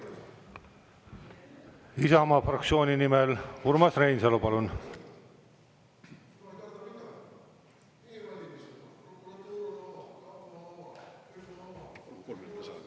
Isamaa fraktsiooni nimel Urmas Reinsalu, palun!